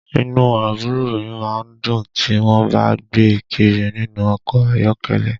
Inú àbúrò mi má ń dùn tí wọ́n bá ń gbé e kiri nínú ọkọ̀ ayọ́kẹ́lẹ́